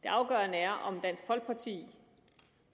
det afgørende er om dansk folkeparti